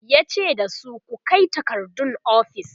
yace dasu "ku Kai takardun ofis!"